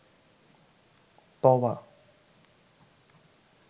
তাওবা